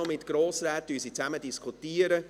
Danach diskutieren sie mit Grossräten.